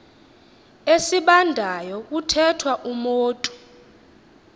esibandayo kuthethwa umotu